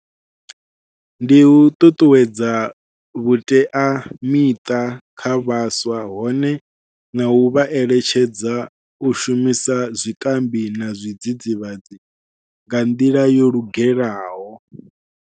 Ndi u ṱuṱuwedza vhuteamiṱa kha vhaswa hone nau vha eletshedza u shumisa zwikambi na zwidzidzivhadzi nga nḓila yo lugelaho.